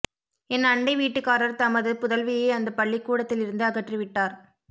என் அண்டை வீட்டுக்காரர் தமது புதல்வியை அந்தப் பள்ளிக்கூடத்திலிருந்து அகற்றி விட்டார்